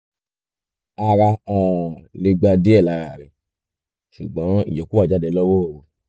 ara um lè gba díẹ̀ lára rẹ̀ ṣùgbọ́n ìyókù á jáde lọ́wọ́ òru